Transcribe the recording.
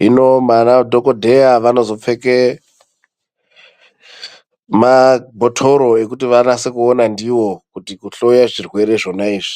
hino vanadhokodheya vanozo pfeke mabhotoro rkuti vanase kuona ndivo kuhloya zvirwere zvonaizvi.